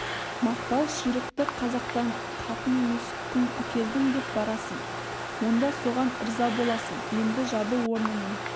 мақпал ширықты қазақтан қатын емес күң әкелдім деп барасың онда соған ырза боласың енді жабы орнынан